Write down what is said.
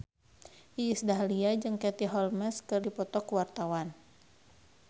Iis Dahlia jeung Katie Holmes keur dipoto ku wartawan